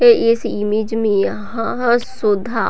पे इस इमेज में यहाँ सुधा--